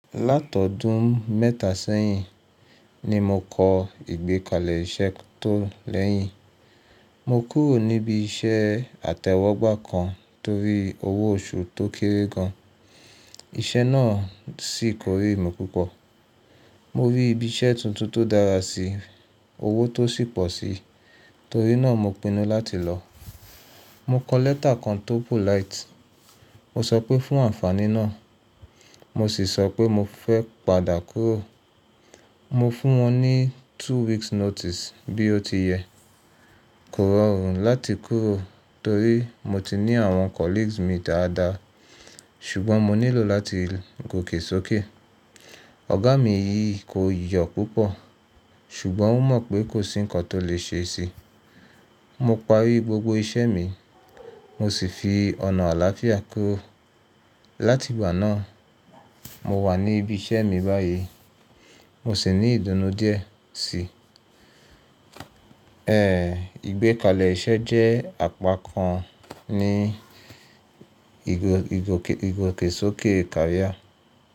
Látọdún mẹ́ta sẹ́yìn ni mo kọ ìgbékalẹ̀ iṣẹ́ tó lẹ́yìn. Mo kúrò níbi iṣẹ́ àtẹ́wọ́gbà kan torí owó oṣù tó kéré gan. Iṣẹ́ náà sì korí mi púpọ̀. Mo rí ibi iṣẹ́ tuntun tó dára sí i, owó tó sì pọ̀ sí i, torí náà mo pinnu láti lọ. Mo kọ lẹ́tà kan tó polite. Mo sọ pé fún àǹfàní náà, mo sì sọ pé mo fẹ́ padà kúrò. Mo fún wọn ní two weeks notice bí ó ti yẹ. Kò rọrùn láti kúrò torí mo ti ní àwọn colleagues mi dáadáa ṣùgbọ́n mo nílò láti gòkè sókè. Ọ̀gá mi yí i kò yọ̀ púpọ̀ ṣùgbọ́n ó mọ̀ pé kò sí nǹkan tó lè ṣe sí i. Mo parí gbogbo iṣẹ́ mi mo sì fi ọ̀nà àlàáfíà kúrò. Láti ìgbà náà, mo wà ní ibi iṣẹ́ mi báyìí, mo sì ní ìdùnnú díẹ̀ sí i. Ẹ̀ẹ̀, ìgbékalẹ̀ iṣẹ́ jẹ́ àpá kan ní ìgòkè sókè career.